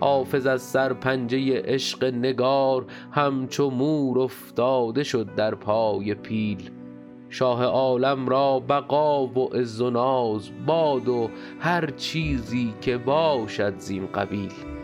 حافظ از سرپنجه عشق نگار همچو مور افتاده شد در پای پیل شاه عالم را بقا و عز و ناز باد و هر چیزی که باشد زین قبیل